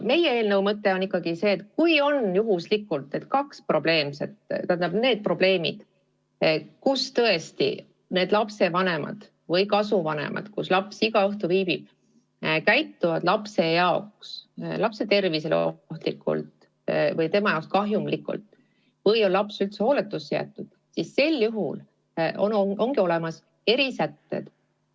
Meie eelnõu mõte on ikkagi see, et kui juhtumisi tõepoolest on tegemist selliste probleemidega, et lapsevanemad või kasuvanemad seal, kus laps igal õhtul viibib, käituvad lapse tervist ohustavalt või teda kahjustavalt või on laps üldse hooletusse jäetud, siis sellisteks puhkudeks on olemas erisätted.